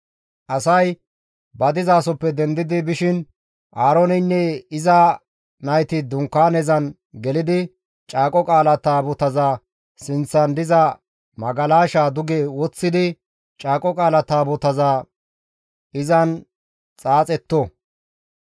Asay ba dizasoppe dendi bishin Aarooneynne iza nayti dunkaanezan gelidi Caaqo Qaala Taabotaza sinththan diza magalashaa duge woththidi Caaqo Qaala Taabotaza izan xaaxetto.